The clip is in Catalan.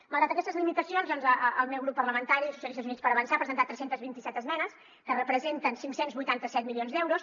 malgrat aquestes limitacions doncs el meu grup parlamentari socialistes i units per avançar ha presentat tres cents i vint set esmenes que representen cinc cents i vuitanta set milions d’euros